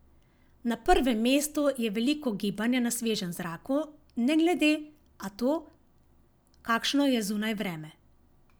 Na prvem mestu je veliko gibanja na svežem zraku ne glede a to, kakšno je zunaj vreme.